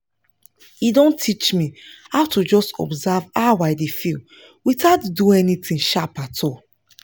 e don teach me how to just observe how i dey feel without do anything sharp at all